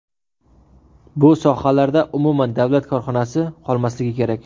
Bu sohalarda umuman davlat korxonasi qolmasligi kerak.